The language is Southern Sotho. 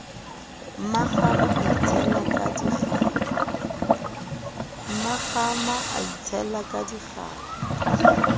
mmakgama a itshela ka dikgapha